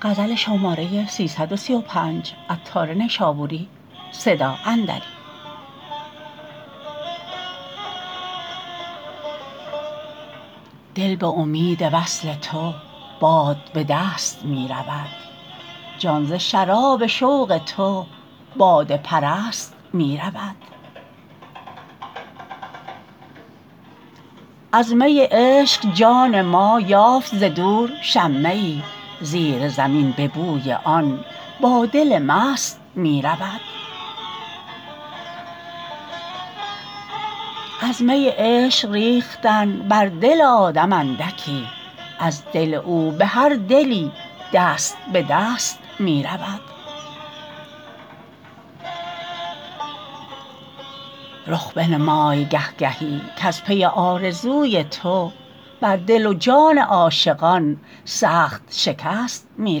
دل به امید وصل تو باد به دست می رود جان ز شراب شوق تو باده پرست می رود از می عشق جان ما یافت ز دور شمه ای زیر زمین به بوی آن با دل مست می رود از می عشق ریختن بر دل آدم اندکی از دل او به هر دلی دست به دست می رود رخ بنمای گه گهی کز پی آرزوی تو بر دل و جان عاشقان سخت شکست می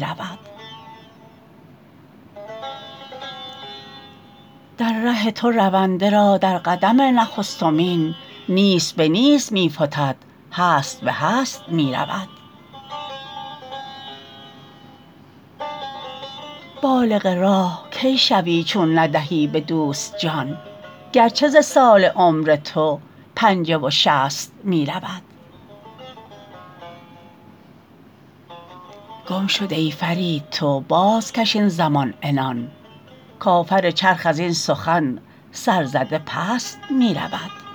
رود در ره تو رونده را در قدم نخستمین نیست به نیست می فتد هست به هست می رود بالغ راه کی شوی چون ندهی به دوست جان گرچه ز سال عمر تو پنجه و شصت می رود گم شده ای فرید تو بازکش این زمان عنان کافر چرخ ازین سخن سر زده پست می رود